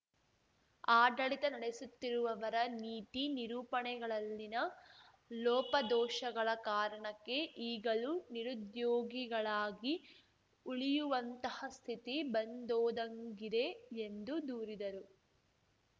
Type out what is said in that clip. ಆಡಳಿತ ನಡೆಸುತ್ತಿರುವವರ ನೀತಿ ನಿರೂಪಣೆಗಳಲ್ಲಿನ ಲೋಪದೋಷಗಳ ಕಾರಣಕ್ಕೆ ಈಗಲೂ ನಿರುದ್ಯೋಗಿಗಳಾಗಿ ಉಳಿಯುವಂತಹ ಸ್ಥಿತಿ ಬಂದೊದಗಿಂದೆ ಎಂದು ದೂರಿದರು